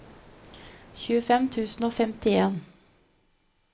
tjuefem tusen og femtien